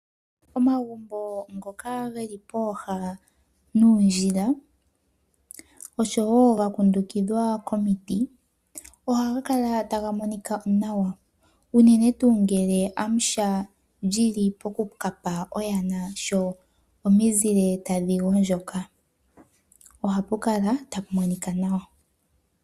Omagumbo ngoka geli pooha nuundjila osho woo gakundukidhwa komiti ohaga kala taga monika nawa, unene tuu ngele Amusha eli pokuka pa oyana, sho omizile tadhi gondjoka ohapu kala ta pu monika nawa.